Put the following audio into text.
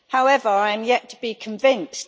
However, I am yet to be convinced.